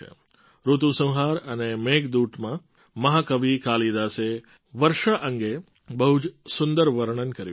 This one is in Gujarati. ઋતુસંહાર અને મેઘદૂતમાં મહા કવિ કાલિદાસે વર્ષા અંગે બહુ જ સુંદર વર્ણન કર્યું છે